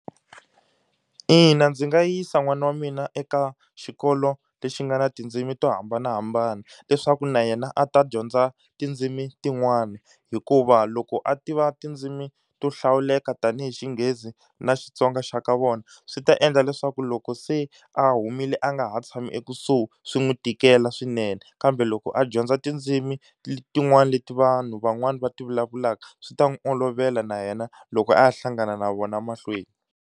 Ina, ndzi nga yisa n'wana wa mina eka xikolo lexi nga ni tindzimi to hambanahambana, leswaku na yena a ta dyondza tindzimi tin'wana. Hikuva loko a tiva tindzimi to hlawuleka tanihi Xinghezi na Xitsonga xa ka vona swi ta endla leswaku loko se a humile a nga ha tshami ekusuhi swi n'wi tikela swinene, kambe loko a dyondza tindzimi tin'wana leti vanhu van'wani va ti vulavulaka swi ta n'wi olovela na yena loko a hlangana na vona mahlweni.